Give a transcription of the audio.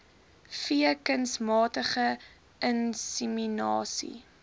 v kunsmatige inseminasie